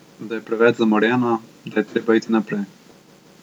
Da je preveč zamorjeno, da je treba iti naprej.